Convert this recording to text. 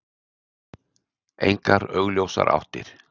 Engar augljósar áttir.